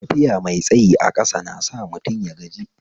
Tafiya mai tsayi a ƙasa nasa mutum yagaji